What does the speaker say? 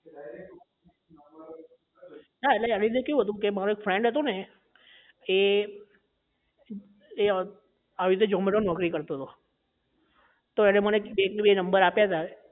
હા એટલે એની અંદર કેવું હતું કે મારો એક friend હતો ને એ એ આવી રીતે zomato માં નોકરી કરતો હતો તો એને મને એક થી બે number આપ્યા હતા